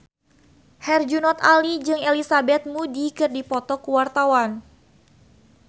Herjunot Ali jeung Elizabeth Moody keur dipoto ku wartawan